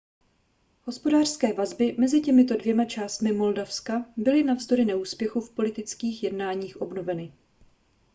hospodářské vazby mezi těmito dvěma částmi moldavska byly navzdory neúspěchu v politických jednáních obnoveny